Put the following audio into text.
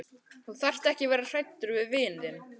Þú þarft ekki að vera hræddur við vin þinn.